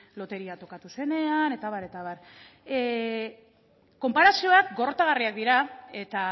loteria tokatu zenean eta abar eta abar konparazioak gorrotagarriak dira eta